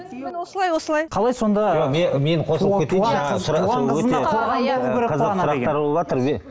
осылай осылай қалай сонда мен қосылып кетейінші